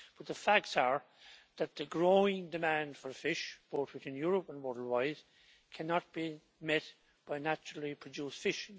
But the facts are that the growing demand for fish, both in Europe and worldwide, cannot be met by naturally produced fish.